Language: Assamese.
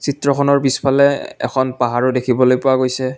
চিত্ৰখনৰ পিছফালে এখন পাহাৰো দেখিবলৈ পোৱা গৈছে।